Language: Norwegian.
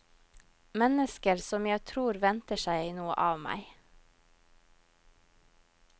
Mennesker som jeg tror venter seg noe av meg.